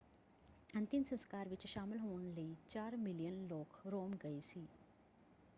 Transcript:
ਅੰਤਿਮ ਸੰਸਕਾਰ ਵਿੱਚ ਸ਼ਾਮਿਲ ਹੋਣ ਲਈ ਚਾਰ ਮਿਲੀਅਨ ਲੋਕ ਰੋਮ ਗਏ ਸੀ।